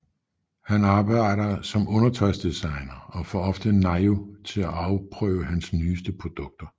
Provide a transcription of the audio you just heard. Han arbejder som undertøjsdesigner og får ofte Nayu til at afprøve hans nyeste produkter